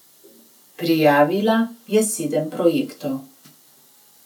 Prijavila je sedem projektov.